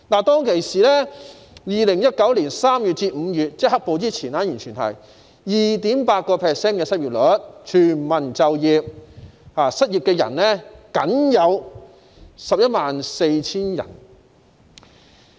在2019年3月至5月，即"黑暴"出現前，失業率是 2.8%， 全民就業，失業人數僅為 114,000 人。